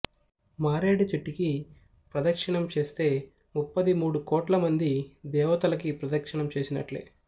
మారేడు చెట్టుకి ప్రదక్షిణం చేస్తే ముప్పది మూడు కోట్లమంది దేవతలకి ప్రదక్షిణం చేసినట్లే